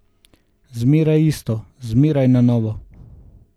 Zmeraj isto, zmeraj na novo.